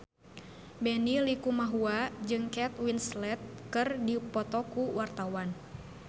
Benny Likumahua jeung Kate Winslet keur dipoto ku wartawan